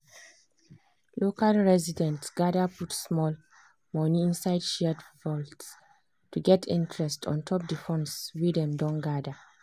local residents gather put small money inside shared vault to get interest ontop the funds wey dem don gather.